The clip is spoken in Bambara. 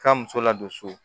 Ka muso ladon so